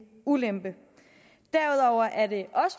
ulempe derudover er det